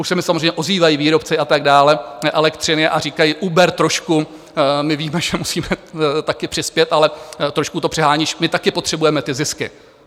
Už se mi samozřejmě ozývají výrobci a tak dál elektřiny a říkají: uber trošku, my víme, že musíme taky přispět, ale trošku to přeháníš, my taky potřebujeme ty zisky.